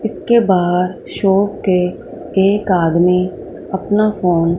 इसके बाद शॉप पे एक आदमी अपना फोन --